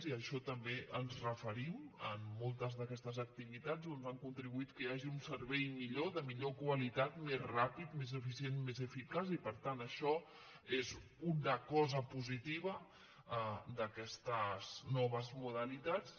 i a això també ens referim en moltes d’aquestes activitats doncs han contribuït que hi hagi un servei millor de millor qualitat més ràpid més eficient i més eficaç i per tant això és una cosa positiva d’aquestes noves modalitats